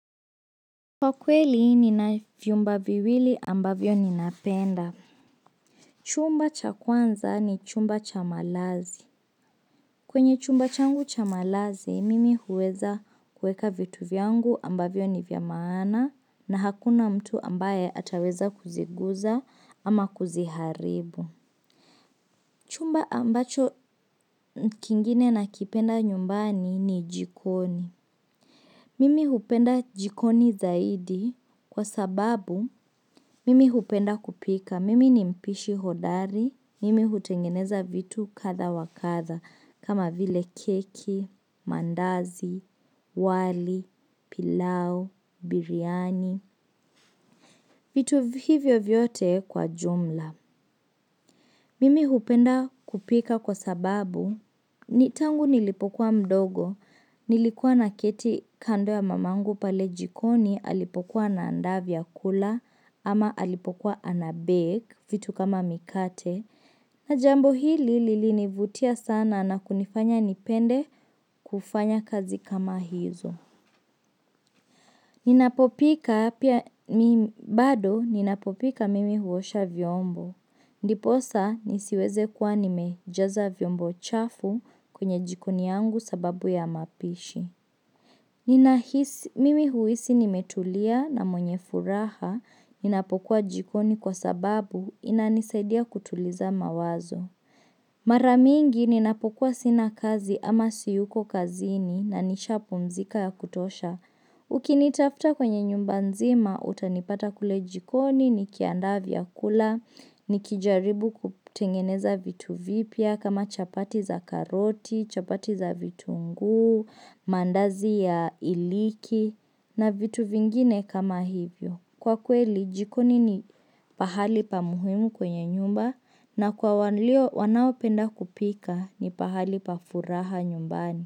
Kwa kweli nina vyumba viwili ambavyo ninapenda. Chumba cha kwanza ni chumba cha malazi. Kwenye chumba changu cha malazi, mimi huweza kueka vitu vyangu ambavyo ni vya maana na hakuna mtu ambaye ataweza kuziguza ama kuziharibu. Chumba ambacho kingine nakipenda nyumbani ni jikoni. Mimi hupenda jikoni zaidi kwa sababu mimi hupenda kupika. Mimi ni mpishi hodari, mimi hutengeneza vitu kadha wa kadha kama vile keki, maandazi, wali, pilau, biryani, vitu hivyo vyote kwa jumla. Mimi hupenda kupika kwa sababu tangu nilipokuwa mdogo nilikuwa naketi kando ya mamangu pale jikoni alipokuwa anaandaa vyakula ama alipokuwa anabake vitu kama mikate na jambo hili lilinivutia sana na kunifanya nipende kufanya kazi kama hizo. Ninapopika bado ninapopika mimi huosha vyombo. Ndiposa nisiweze kuwa nimejaza vyombo chafu kwenye jikoni yangu sababu ya mapishi. Ninahisi, mimi huhisi nimetulia na mwenye furaha, ninapokuwa jikoni kwa sababu inanisaidia kutuliza mawazo. Mara mingi ni napokuwa sina kazi ama siyuko kazini na nishapumzika ya kutosha. Ukinitafuta kwenye nyumba nzima utanipata kule jikoni, nikiandaa vyakula, nikijaribu kutengeneza vitu vipya kama chapati za karoti, chapati za vitunguu, mandazi ya iliki na vitu vingine kama hivyo. Kwa kweli, jikoni ni pahali pa muhimu kwenye nyumba na kwa wanaopenda kupika ni pahali pa furaha nyumbani.